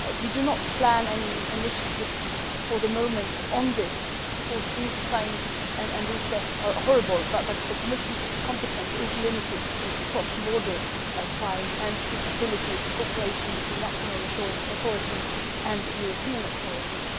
We do not plan any initiatives for the moment on this. These crimes and these deaths are horrible, but the Commission's competence is limited to cross border crime and to facilitating cooperation between national authorities and European authorities.